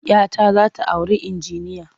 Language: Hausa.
Ya ta za ta auri injiniya.